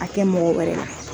A kɛ mɔgɔ wɛrɛ la.